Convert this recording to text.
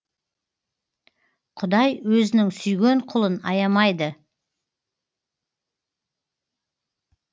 құдай өзінің сүйген құлын аямайды